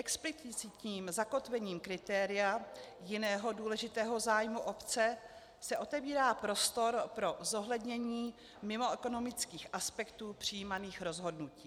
Explicitním zakotvením kritéria jiného důležitého zájmu obce se otevírá prostor pro zohlednění mimoekonomických aspektů přijímaných rozhodnutí.